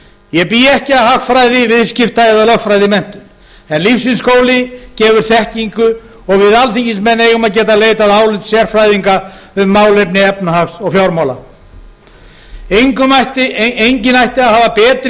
ég bý ekki að hagfræði viðskipta eða lögfræðimenntun en lífsins skóli gefur þekkingu og við alþingismenn eigum að geta leitað álits sérfræðinga um málefni efnahags og fjármála enginn ætti að hafa